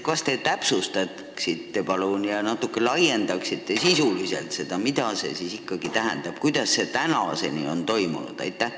Kas te palun täpsustaksite ja natuke sisuliselt laiendaksite seda, mida see ikkagi tähendab: kuidas on tagasisaatmine tänaseni toimunud?